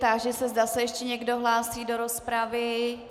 Táži se, zda se ještě někdo hlásí do rozpravy.